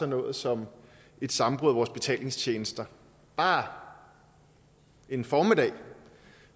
noget som et sammenbrud af vores betalingstjenester bare en formiddag